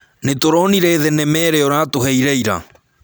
Nĩtũronire thenema ĩrĩa ũratũheire ira